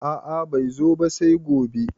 A`a bai zo ba sai gobe